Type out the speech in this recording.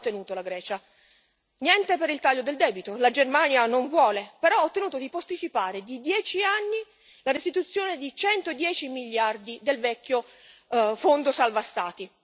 Cosa ha ottenuto la Grecia? Niente per il taglio del debito la Germania non vuole, però ha ottenuto di posticipare di 10 anni la restituzione di 110 miliardi del vecchio fondo salva Stati.